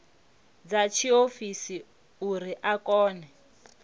dza tshiofisi uri a kone